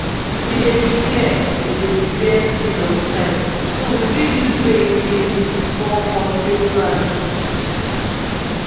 we dey prepare we dey prepare seeds on time so we fit use rain main fall first take plant.